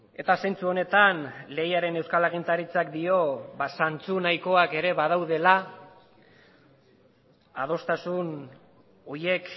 eta zentzu honetan lehiaren euskal agintaritzak dio zantzu nahikoak ere badaudela adostasun horiek